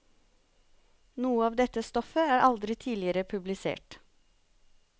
Noe av dette stoffet er aldri tidligere publisert.